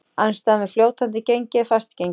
Andstaðan við fljótandi gengi er fast gengi.